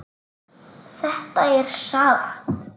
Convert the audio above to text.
Þetta er sárt.